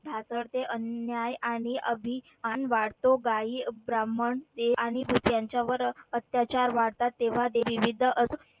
ढासळते अन्याय आणि अभिमान वाढतो गायी, ब्राह्मण, देव आणि यांच्यावर अत्याचार वाढतात, तेव्हा ते